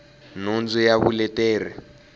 nhundzu ya vuleteri bya idp